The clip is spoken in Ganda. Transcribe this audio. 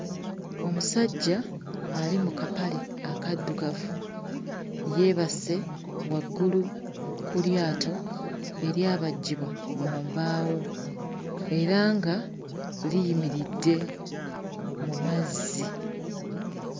Omusajja ali mu kapale akaddugavu yeebase waggulu ku lyato eryabajjibwa mu mbaawo era nga liyimiridde mu mazzi.